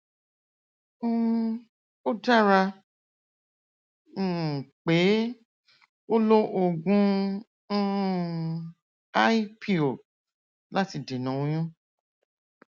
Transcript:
um ó dára um pé ó lo oògùn um i pill láti dènà oyún